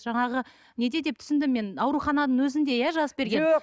жаңағы неде деп түсіндім мен аурухананың өзінде иә жазып берген жоқ